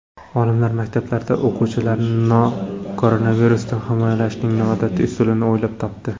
Olimlar maktablarda o‘quvchilarni koronavirusdan himoyalashning noodatiy usulini o‘ylab topdi.